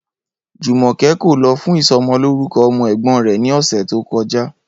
Jùmò̩ké̩ kò lo̩ fún iso̩mo̩lórúko̩ o̩mo̩ è̩gbó̩n rè̩ ní ò̩sè̩ tí ó ko̩já